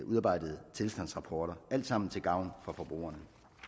udarbejdede tilstandsrapporter alt sammen til gavn for forbrugerne